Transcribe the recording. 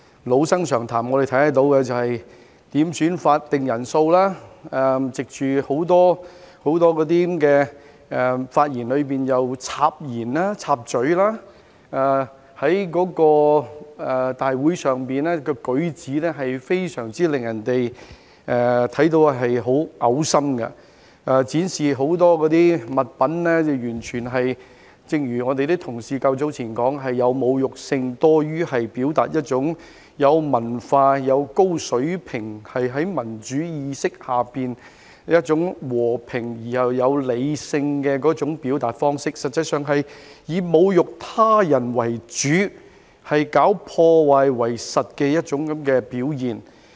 老生常談，他們當時要求點算法定人數，在很多發言中插言，在立法會會議上的舉止非常令人噁心，正如同事較早前說，展示很多物品完全是有侮辱性多於有文化、有高水平、在民主意識下一種和平而又理性的表達方式，實際上是以侮辱他人為主，搞破壞為實的一種表現。